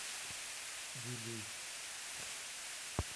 вилюйск